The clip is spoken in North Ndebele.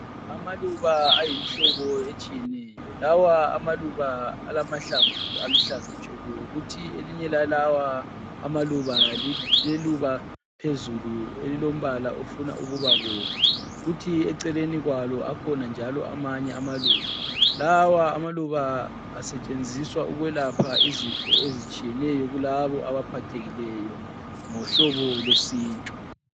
Amaluba ayimihlobo etshiyeneyo. Lawa amaluba alamahlamvu aluhlaza tshoko kuthi elinye lalawa amaluba liluba phezulu elilombala ofuna ukubabomvu kuthi eceleni kwalo akhona njalo amanye amaluba. Lawa amaluba asetshenziswa ukwelapha izifo ezitshiyeneyo kulabo abaphathekileyo ngohlobo lwesintu.